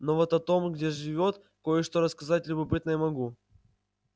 но вот о том где живёт кое-что рассказать любопытное могу